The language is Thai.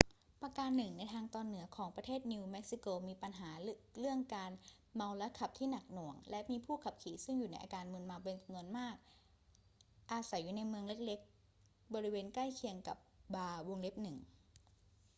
ประการหนึ่งคือในทางตอนเหนือของประเทศนิวเม็กซิโกมีปัญหาเรื่องการเมาแล้วขับที่หนักหน่วงและมีผู้ขับขี่ซึ่งอยู่ในอาการมึนเมาเป็นจำนวนมากอาศัยอยู่ในเมืองเล็ก ๆ บริเวณใกล้เคียงกับบาร์ 1